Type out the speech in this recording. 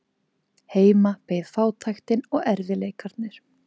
Heima beið fátæktin og erfiðleikarnir.